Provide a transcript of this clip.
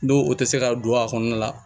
N'o o tɛ se ka don a kɔnɔna la